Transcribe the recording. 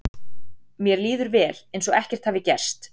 Mér líður vel, eins og ekkert hafi gerst.